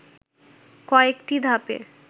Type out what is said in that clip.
কয়েকটি ধাপে